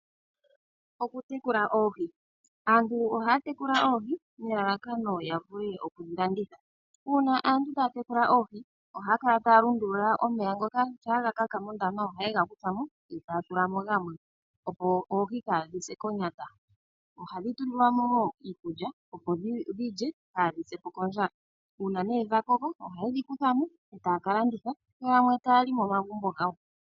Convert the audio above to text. Okutekula oohi Aantu ohaya tekula oohi nelalakano lyoku dhi landitha. Uuna aantu taya tekula oohi ohaya kala taya lundulula omeya ngoka, shampa ga kaka mondama ohaye ga kutha mo yo taya tula mo gamwe, opo oohi kaadhi se konyata. Ohadhi tulilwa mo wo iikulya, opo dhi lye kaadhi se po kondjala. Uuna dha koko ohaye dhi kutha mo e taya ka landitha yo yamwe taya li momagumbo gawo.